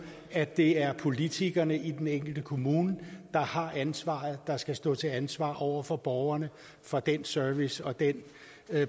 at det er politikerne i den enkelte kommune der har ansvaret og som skal stå til ansvar over for borgerne for den service og den